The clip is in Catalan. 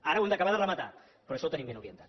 ara ho hem d’acabar de rematar però això ho tenim ben orientat